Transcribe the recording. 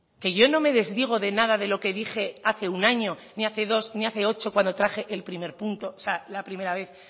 que yo no me desdigo de nada de lo que dije hace un año ni hace dos ni hace ocho cuando traje el primer punto o sea la primera vez